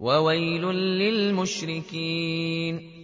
وَوَيْلٌ لِّلْمُشْرِكِينَ